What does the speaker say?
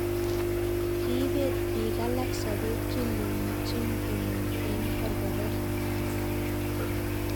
Kiibeet biik alak sobeet kinkomuuchin komong eng korkoreet